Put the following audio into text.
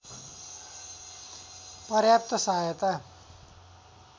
पर्याप्त सहायता